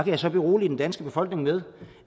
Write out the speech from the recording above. jeg så berolige den danske befolkning med